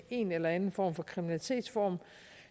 en eller anden form for kriminalitetsform